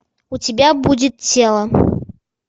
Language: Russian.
у тебя будет тело